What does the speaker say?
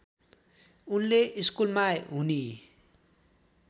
उनले स्कुलमा हुने